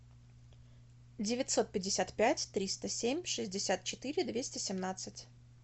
девятьсот пятьдесят пять триста семь шестьдесят четыре двести семнадцать